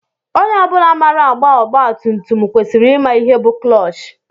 Onye ọ bụla maara agba ọgba tum tum kwesịrị ịma ihe bu clọọch.